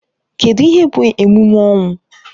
Kedụ ihe bụ emume ọnwụ?